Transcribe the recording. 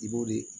I b'o de